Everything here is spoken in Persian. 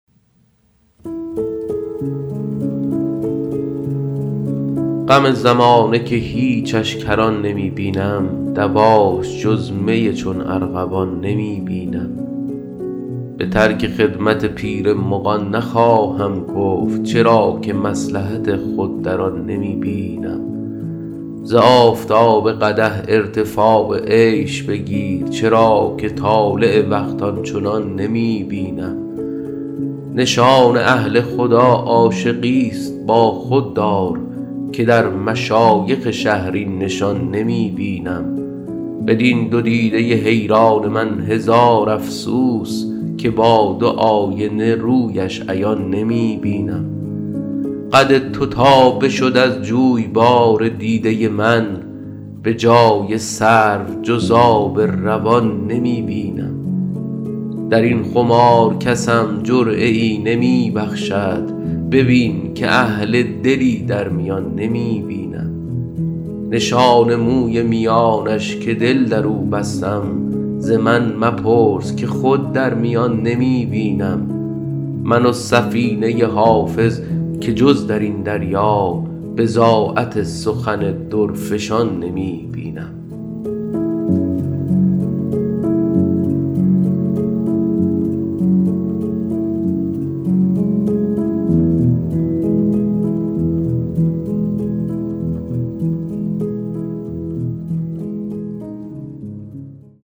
غم زمانه که هیچش کران نمی بینم دواش جز می چون ارغوان نمی بینم به ترک خدمت پیر مغان نخواهم گفت چرا که مصلحت خود در آن نمی بینم ز آفتاب قدح ارتفاع عیش بگیر چرا که طالع وقت آن چنان نمی بینم نشان اهل خدا عاشقیست با خود دار که در مشایخ شهر این نشان نمی بینم بدین دو دیده حیران من هزار افسوس که با دو آینه رویش عیان نمی بینم قد تو تا بشد از جویبار دیده من به جای سرو جز آب روان نمی بینم در این خمار کسم جرعه ای نمی بخشد ببین که اهل دلی در میان نمی بینم نشان موی میانش که دل در او بستم ز من مپرس که خود در میان نمی بینم من و سفینه حافظ که جز در این دریا بضاعت سخن درفشان نمی بینم